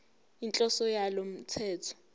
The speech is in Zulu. inhloso yalo mthetho